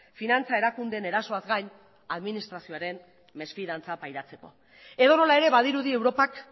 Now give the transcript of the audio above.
finantza erakundeen erasoaz gain administrazioaren mesfidantza pairatzeko edonola ere badirudi europak